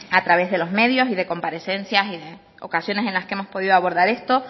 a través de los medios y de comparecencias en ocasiones en las que hemos podido abordar esto